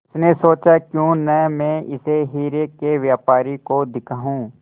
उसने सोचा क्यों न मैं इसे हीरे के व्यापारी को दिखाऊं